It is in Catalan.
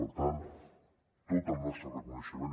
per tant tot el nostre reconeixement